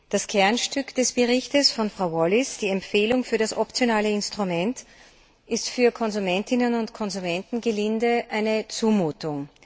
Das Kernstück des Berichts von Frau Wallis, die Empfehlung für das optionale Instrument, ist für Konsumentinnen und Konsumenten, gelinde gesagt, eine Zumutung.